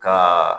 Ka